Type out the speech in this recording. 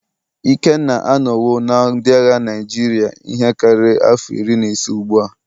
Ikenna anọwo na ndị agha Naịjirịa ihe karịrị afọ iri na ise ugbu a.